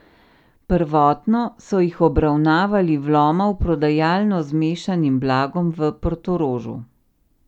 Prvotno so jih obravnavali vloma v prodajalno z mešanim blagom v Portorožu.